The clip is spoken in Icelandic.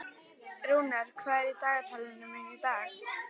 Rúnar, hvað er á dagatalinu mínu í dag?